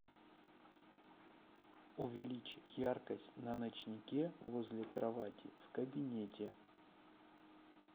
увеличь яркость на ночнике возле кровати в кабинете